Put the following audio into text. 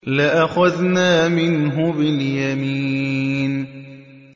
لَأَخَذْنَا مِنْهُ بِالْيَمِينِ